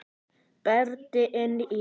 Berti inn í.